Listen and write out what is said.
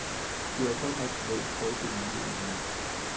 Det er godt med en folkelig modenhed.